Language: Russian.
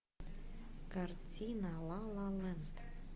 картина ла ла ленд